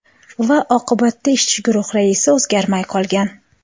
Va oqibatda ishchi guruh raisi o‘zgarmay qolgan.